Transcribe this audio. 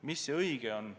Mis see õige on?